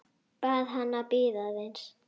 Bað hana að bíða aðeins.